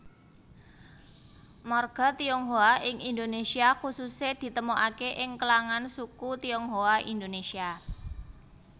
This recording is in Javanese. Marga Tionghoa ing Indonesia khususè ditemokake ing klangan suku Tionghoa Indonesia